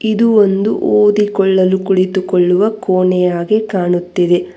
ಇದು ಒಂದು ಓದಿಕೊಳಲ್ಲೂ ಕುಳಿತುಕೊಳ್ಳುವ ಕೋಣೆಯಾಗಿ ಕಾಣುತ್ತಿದೆ.